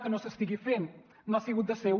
que no s’estigui fent no ha sigut del seu